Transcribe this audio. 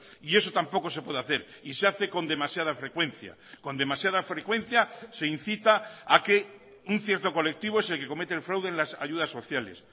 y eso tampoco se puede hacer y se hace con demasiada frecuencia con demasiada frecuencia se incita a que un cierto colectivo es el que comete el fraude en las ayudas sociales